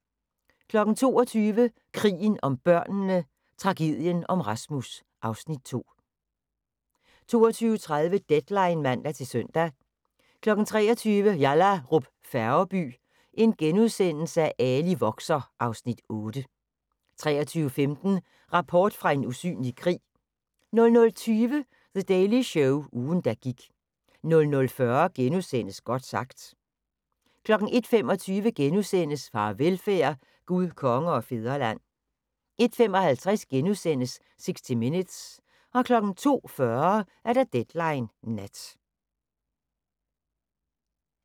22:00: Krigen om børnene: Tragedien om Rasmus (Afs. 2) 22:30: Deadline (man-søn) 23:00: Yallahrup Færgeby: Ali vokser (Afs. 8)* 23:15: Rapport fra en usynlig krig 00:20: The Daily Show – ugen der gik 00:40: Godt sagt * 01:25: Farvelfærd: Gud, Konge og Fædreland * 01:55: 60 Minutes * 02:40: Deadline Nat